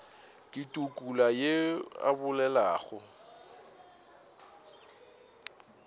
ke tukula yo a bolelago